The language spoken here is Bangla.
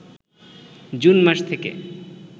জুন মাস থেকে